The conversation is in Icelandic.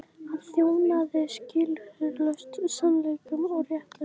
Hann þjónaði skilyrðislaust sannleikanum og réttlætinu.